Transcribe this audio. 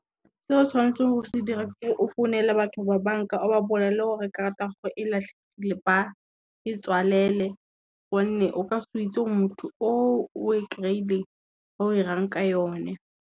Seo o tshwanetseng o se dire ke ore o founele batho ba banka o ba bolelele gore karata ya go e latlhegile ba e tswalele gonne, o ka se itse motho o o e kry-ileng o 'irang ka yone.